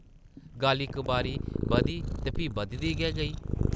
गल्ल इक बारी बधी ते फ्ही बधदी गै गेई।